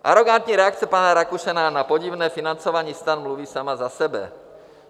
Arogantní reakce pana Rakušana na podivné financování STAN mluví sama za sebe.